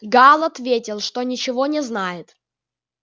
гаал ответил что ничего не знает